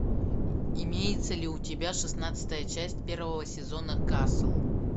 имеется ли у тебя шестнадцатая часть первого сезона касл